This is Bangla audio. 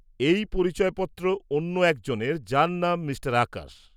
-এই পরিচয়পত্র অন্য একজনের, যার নাম মিঃ আকাশ।